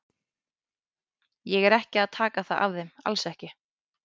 Ég er ekki að taka það af þeim, alls ekki.